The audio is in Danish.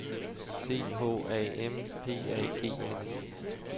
C H A M P A G N E